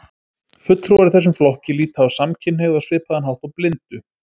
Fulltrúar í þessum flokki líta á samkynhneigð á svipaðan hátt og blindu.